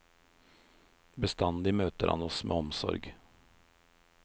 Bestandig møter han oss med omsorg.